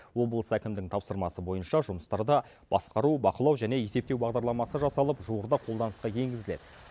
облыс әкімдігінің тапсырмасы бойынша жұмыстарда басқару бақылау және есептеу бағдарламасы жасалып жуырда қолданысқа енгізіледі